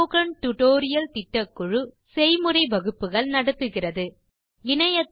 spoken tutorial திட்டக்குழு spoken tutorial களை பயன்படுத்தி செய்முறை வகுப்புகள் நடத்துகிறது